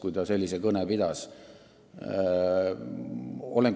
Kui ta sellise kõne pidas, siis võib säärase järelduse teha.